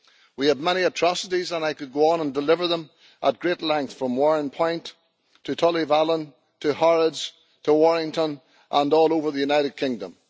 We have had many atrocities and I could go on and deliver them at great length from Warrenpoint to Tullyvallen to Harrods to Warrington and all over the United Kingdom.